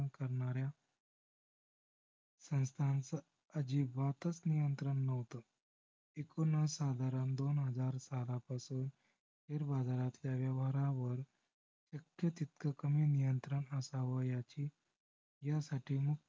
अजिबातच नियंत्रण नव्हते. एकूण हा साधारण दोन हजार बारा पासून share बाजारच्या व्यवहारावर इतक तितक कमी नियंत्रण असाव. ह्याची~ह्यासाठी